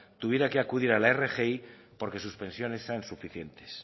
tuviera que acudir a la rgi porque sus pensiones sean suficientes